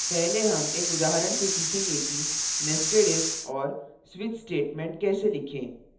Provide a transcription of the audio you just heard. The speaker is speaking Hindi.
पहले हम एक उदाहरण से सीखेंगे कि nested if और switch statements कैसे लिखें